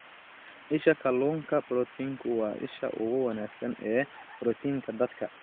Isha Kalluunka Proteinku waa isha ugu wanaagsan ee borotiinka dadka.